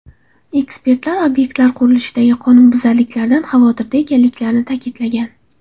Ekspertlar obyektlar qurilishidagi qonunbuzarliklardan xavotirda ekanliklarini ta’kidlagan.